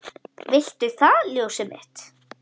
Viltu það ljósið mitt?